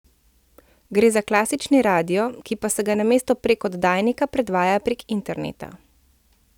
Gre za klasični radio, ki pa se ga namesto prek oddajnika predvaja prek interneta.